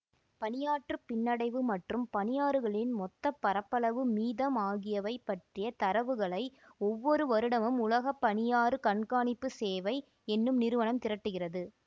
பனியாற்று பின்னடைவு மற்றும் பனியாறுகளின் மொத்த பரப்பளவு மீதம் ஆகியவை பற்றிய தரவுகளை ஒவ்வொரு வருடமும் உலக பனியாறு கண்காணிப்பு சேவை என்னும் நிறுவனம் திரட்டுகிறது